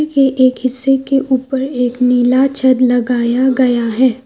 ये एक हिस्से के ऊपर एक नीला छद लगाया गया है।